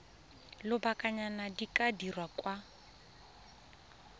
lobakanyana di ka dirwa kwa